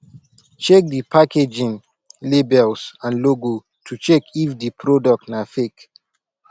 check di packaging labels and logo to check if di product na fake